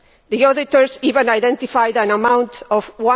The auditors even identified an amount of EUR